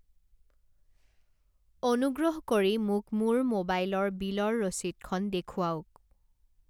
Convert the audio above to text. অনুগ্ৰহ কৰি মোক মোৰ মোবাইল ৰ বিলৰ ৰচিদখন দেখুৱাওক।